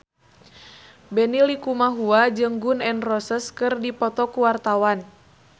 Benny Likumahua jeung Gun N Roses keur dipoto ku wartawan